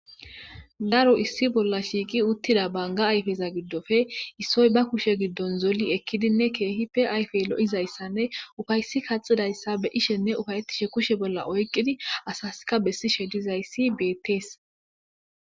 daro issi bolla shiiqi uttida banga ayfeza giddofe issoy ba kushe giddon zoli ekkidinne keehi pe ayfe lo7izayssanne ufaysi kaxidayssa be'ishenne ufayettishe kushe bolla oyqqidi asaska bessishe dizayssi beettees